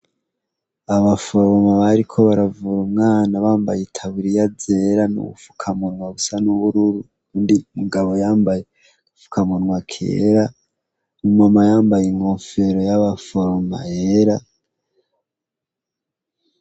abaforoma bariko baravoma umwana bambaye itaburiya zera n'ubufukamunwa busa n'ubururu undi mugabo yambaye fukamunwa kera umama yambaye inkofero y'abaforoma yera